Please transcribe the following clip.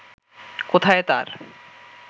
কোথায় তার